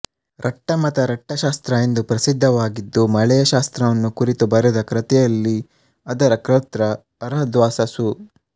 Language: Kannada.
ರಟ್ಟಮತ ರಟ್ಟಶಾಸ್ತ್ರ ಎಂದು ಪ್ರಸಿದ್ಧವಾಗಿದ್ದು ಮಳೆಯ ಶಾಸ್ತ್ರವನ್ನು ಕುರಿತು ಬರೆದ ಕೃತಿಯಲ್ಲಿ ಅದರ ಕರ್ತೃ ಅರ್ಹದ್ವಾಸ ಸು